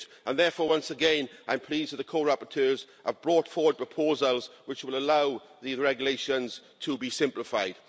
Therefore, once again, I'm pleased that the co rapporteurs have brought forward proposals which will allow the regulations to be simplified.